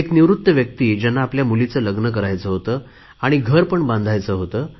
एक निवृत्त व्यक्ती ज्यांना आपल्या मुलीचे लग्न करायचे होते आणि घरपण बांधायचे होते